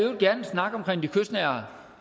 snak omkring de kystnære